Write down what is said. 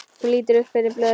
Hún lítur upp fyrir blöðin.